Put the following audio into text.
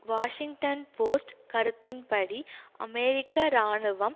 Washington Post கருத்தின்படி அமெரிக்க இராணுவம்